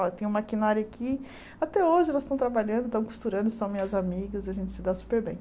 Ó eu tenho um maquinário aqui, até hoje elas tão trabalhando, tão costurando, e são minhas amigas, a gente se dá super bem.